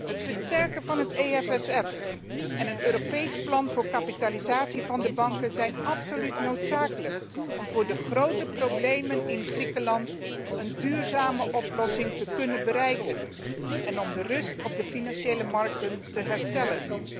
Het versterken van het EFSF en een Europees plan voor kapitalisatie van de banken zijn absoluut noodzakelijk om voor de grote problemen in Griekenland een duurzame oplossing te kunnen bereiken en om de rust op de financiële markten te herstellen.